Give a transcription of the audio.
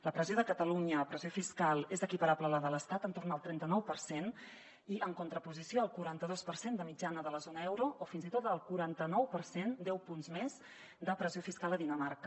la pressió de catalunya pressió fiscal és equiparable a la de l’estat entorn del trenta nou per cent i en contraposició al quaranta dos per cent de mitjana de la zona euro o fins i tot al quaranta nou per cent deu punts més de pressió fiscal a dinamarca